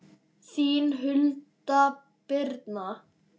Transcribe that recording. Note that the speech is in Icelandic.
Þín Hulda Birna.